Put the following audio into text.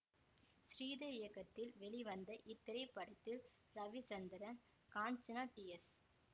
ஸ்ரீதர் இயக்கத்தில் வெளிவந்த இத்திரைப்படத்தில் ரவிசந்திரன் காஞ்சனா டி எஸ்